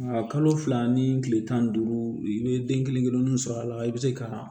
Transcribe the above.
Nka kalo fila ni tile tan ni duuru i bɛ den kelen kelenninw sɔrɔ a la i bɛ se ka